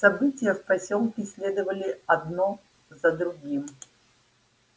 события в посёлке следовали одно за другим